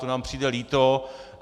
To nám přijde líto.